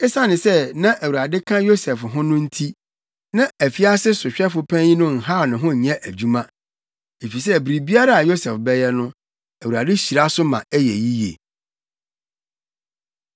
Esiane sɛ na Awurade ka Yosef ho no nti, na afiase sohwɛfo panyin no nhaw ne ho nyɛ adwuma. Efisɛ biribiara a Yosef bɛyɛ no, Awurade hyira so ma esi yiye.